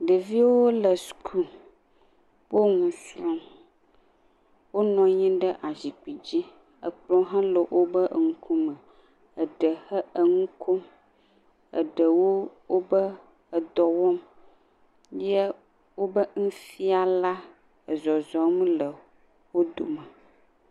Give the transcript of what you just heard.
Ɖevi wole suku. Wo nusrɔ̃m. Wonɔ anyi ɖe asikpui dzi. Ekplɔ hã le woƒe ŋkume. Eɖe he enu kom. Eɖewo woƒe edɔ wɔm ye woƒe nufiala ezɔzɔm le wodome.